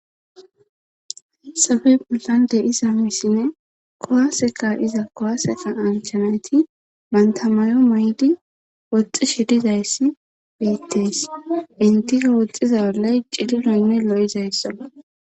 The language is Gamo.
Haysappe bollani de'iza misine kowaseka iza kowaseka anchanayti mantamayo may7di woxxi shedizayssi beittees intiko woxxiza ollay cilinoynne lo7izayssaa